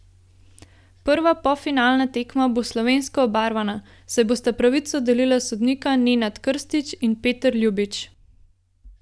Prva polfinalna tekma bo slovensko obarvana, saj bosta pravico delila sodnika Nenad Krstič in Peter Ljubič.